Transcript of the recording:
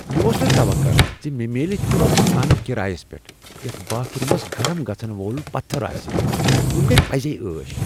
مےٚ اوس نہ توقع ز مےٚ میلہِ تیتھ مکانہ کرایس پیٹھ یتھ باتھ رومس گرم گژھن وول پتھٕر آسہ، یمہٕ گیہِ پزے عٲش!